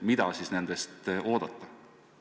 Mida siis nendest oodata?